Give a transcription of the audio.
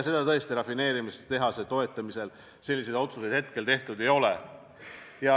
Tõesti, rafineerimistehase toetamise kohta selliseid otsuseid tehtud ei ole.